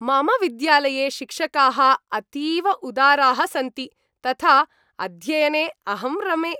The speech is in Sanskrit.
मम विद्यालये शिक्षकाः अतीव उदाराः सन्ति, तथा अध्ययने अहं रमे।